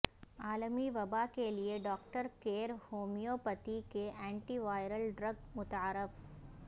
عالمی وباء کیلئے ڈاکٹر کیر ہومیو پیتھی کی اینٹی وائرل ڈرگ متعارف